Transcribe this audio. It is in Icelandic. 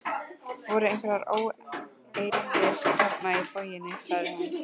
Voru einhverjar óeirðir þarna í borginni? sagði hún.